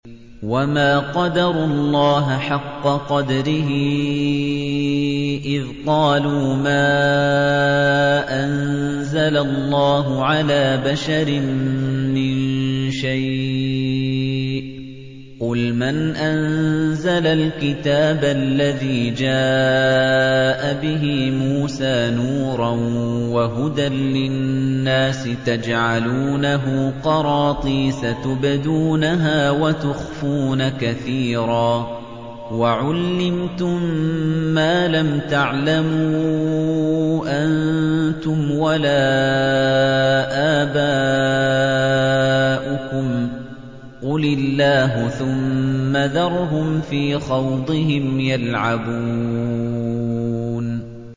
وَمَا قَدَرُوا اللَّهَ حَقَّ قَدْرِهِ إِذْ قَالُوا مَا أَنزَلَ اللَّهُ عَلَىٰ بَشَرٍ مِّن شَيْءٍ ۗ قُلْ مَنْ أَنزَلَ الْكِتَابَ الَّذِي جَاءَ بِهِ مُوسَىٰ نُورًا وَهُدًى لِّلنَّاسِ ۖ تَجْعَلُونَهُ قَرَاطِيسَ تُبْدُونَهَا وَتُخْفُونَ كَثِيرًا ۖ وَعُلِّمْتُم مَّا لَمْ تَعْلَمُوا أَنتُمْ وَلَا آبَاؤُكُمْ ۖ قُلِ اللَّهُ ۖ ثُمَّ ذَرْهُمْ فِي خَوْضِهِمْ يَلْعَبُونَ